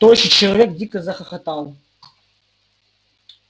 тощий человек дико захохотал